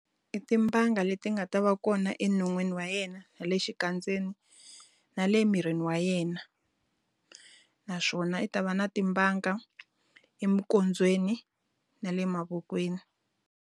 I timbanga leti nga ta va kona enon'wini wa yena na le xikandzeni, na le mirini wa yena. Naswona i ta va na timbanga eminkondzweni na le mavokweni.